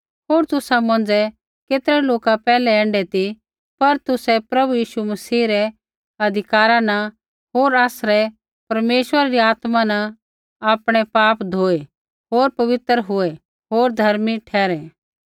होर तुसा मौंझ़ै केतरै लोका पैहलै ऐण्ढै ती पर तुसै प्रभु यीशु मसीह रै अधिकारा न होर आसरै परमेश्वरा री आत्मा न आपणै पाप धोऐ होर पवित्र हुये होर धर्मी ठहरै